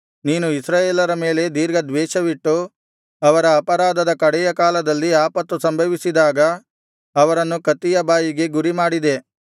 ನೀನು ಇಸ್ರಾಯೇಲರ ಮೇಲೆ ದೀರ್ಘ ದ್ವೇಷವಿಟ್ಟು ಅವರ ಅಪರಾಧದ ಕಡೆಯ ಕಾಲದಲ್ಲಿ ಆಪತ್ತು ಸಂಭವಿಸಿದಾಗ ಅವರನ್ನು ಕತ್ತಿಯ ಬಾಯಿಗೆ ಗುರಿಮಾಡಿದೆ